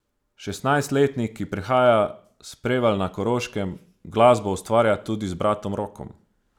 Šestnajstletnik, ki prihaja s Prevalj na Koroškem, glasbo ustvarja tudi z bratom Rokom.